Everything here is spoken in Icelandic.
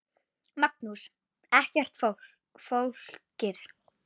Magnús: Ekkert flókið?